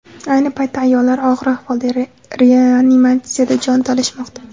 Ayni paytda ayollar og‘ir ahvolda reanimatsiyada jon talashmoqda.